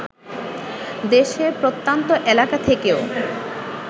দেশের প্রত্যন্ত এলাকা থেকেও